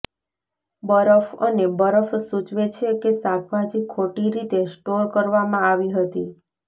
બરફ અને બરફ સૂચવે છે કે શાકભાજી ખોટી રીતે સ્ટોર કરવામાં આવી હતી